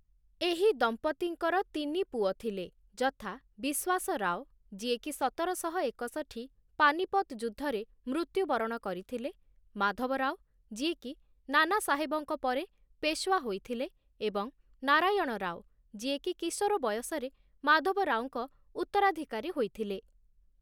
ଏହି ଦମ୍ପତ୍ତିଙ୍କର ତିନି ପୁଅ ଥିଲେ, ଯଥା ବିଶ୍ୱାସରାଓ, ଯିଏକି ସତରଶହ ଏକଷଠୀ ପାନିପତ ଯୁଦ୍ଧରେ ମୃତ୍ୟୁବରଣ କରିଥିଲେ, ମାଧବରାଓ, ଯିଏକି ନାନାସାହେବଙ୍କ ପରେ ପେଶୱା ହୋଇଥିଲେ, ଏବଂ ନାରାୟଣ ରାଓ ଯିଏକି କିଶୋର ବୟସରେ ମାଧବରାଓଙ୍କ ଉତ୍ତରାଧିକାରୀ ହୋଇଥିଲେ ।